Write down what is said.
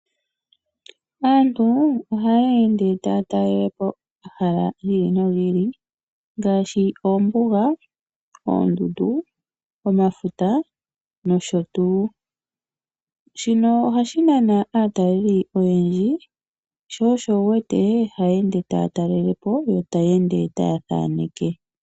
Aantu ohaya ende taya talele po omahala gi ili nogi ili ngaashi oombuga, oondundu, omafuta nosho tuu. Shino ohashi nana aataleli oyendji sho osho wuwete haya ende taya talele po yo taya ende taya thaneke.